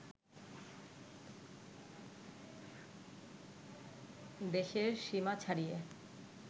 দেশের সীমা ছাড়িয়ে